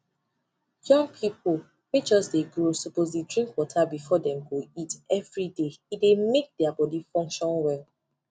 young people wey just dey grow suppose dey drink water before dem go eat everydaye dey make their body function well